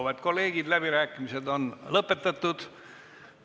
Auväärt kolleegid, läbirääkimised on lõpetatud.